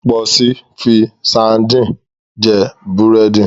Pọ̀si fi sadíìnì jẹ búrẹ́dì.